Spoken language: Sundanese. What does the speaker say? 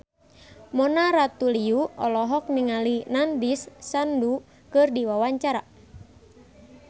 Mona Ratuliu olohok ningali Nandish Sandhu keur diwawancara